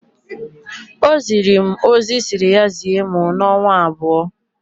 O ziri mụ ozi Ị si ya zie mụ n'ọnwa abụọ.